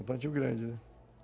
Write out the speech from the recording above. Um plantio grande, né?